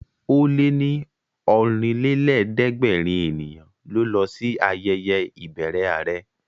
Ó lé ní Ọ̀rìnlélẹ̀ẹ́dẹ́gbèrin ènìyàn ló lọ sí ayẹyẹ ìbẹrẹ àrẹ